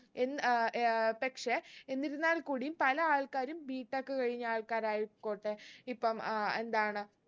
എന്ന് അഹ് അഹ് പക്ഷെ എന്നിരുന്നാൽ കൂടിയും പല ആൾക്കാരും B. tech കഴിഞ്ഞ ആൾക്കാരായിക്കോട്ടെ ഇപ്പം ഏർ എന്താണ്